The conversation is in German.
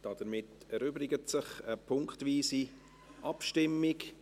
Damit erübrigt sich eine punktweise Abstimmung.